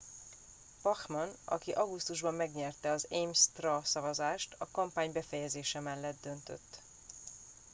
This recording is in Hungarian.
bachmann aki augusztusban megnyerte az ames straw szavazást a kampány befejezése mellett döntött